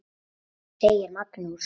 segir Magnús.